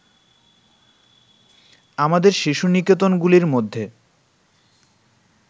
আমাদের শিশু-নিকেতনগুলির মধ্যে